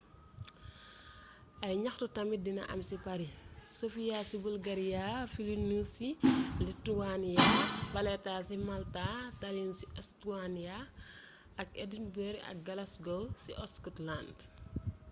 ay gnaxtu tamit dina am ci paris sofia ci bulgaria vilnius ci lithuania valetta ci malta tallinn ci estonia ak edinburgh ak glasgow ci scotland